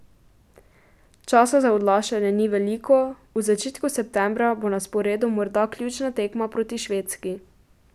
Časa za odlašanje ni veliko, v začetku septembra bo na sporedu morda ključna tekma proti Švedski.